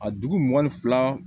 A dugu mugan ni fila